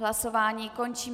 Hlasování končím.